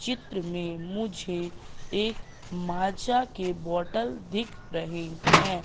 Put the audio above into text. चित्र में मुझे एक माजा के बॉटल दिख रहे हैं।